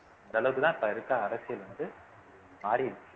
அந்த அளவுக்குதான் இப்ப இருக்க அரசியல் வந்து மாறிடுச்சு